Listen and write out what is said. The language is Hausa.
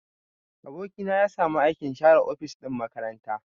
Aboki na ya samu aikin share ofis ɗin makaranta.